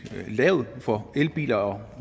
er lavt for elbiler og